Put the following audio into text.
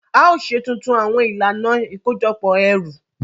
A yoo ṣe tuntun awọn ilana ikojọpọ ẹru.